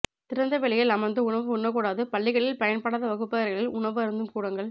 திறந்தவெளியில் அமர்ந்து உணவு உண்ணக்கூடாது பள்ளிகளில் பயன்படாத வகுப்பறைகளில் உணவு அருந்தும் கூடங்கள்